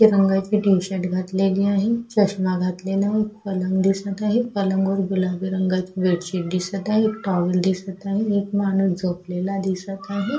रंगाची T shirt घातलेली आहे चश्मा घातलेला आहे पलंग दिसत आहे पलंगावर गुलाबी रंगाची बेडशीट दिसत आहे एक टॉवेल दिसत आहे एक माणूस झोपलेला दिसत आहे.